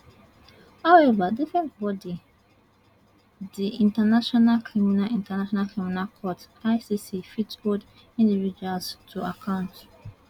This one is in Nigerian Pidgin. however different body di international criminal international criminal court icc fit hold individuals to account